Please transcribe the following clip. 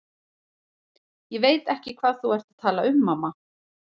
SÓLA: Ég veit ekki hvað þú ert að tala um, mamma.